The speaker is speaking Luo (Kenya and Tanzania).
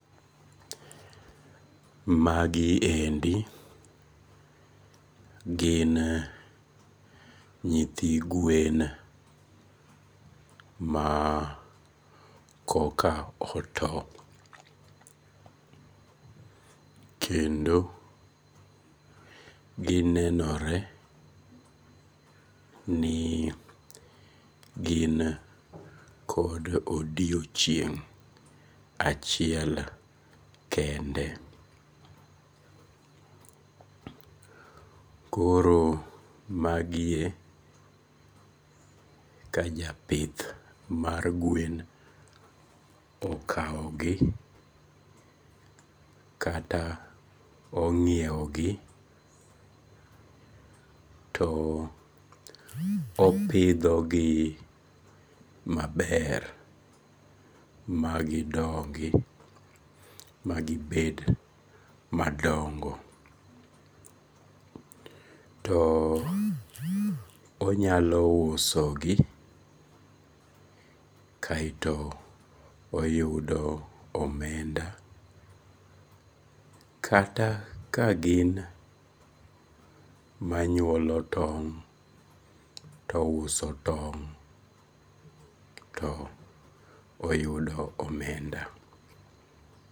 Magiendi gin nyithi gwen ma koka oto, kendo ginenore ni gin kod odiochieng' achiel kende, koro magie ka japith mag gwen okawogi kata onyiewogi to opithogi maber magidongi magibet madongo to onyalo usogi, kaeto oyudo omenda kata ka gin manyuolo tong' to ouso tong' to oyudo omenda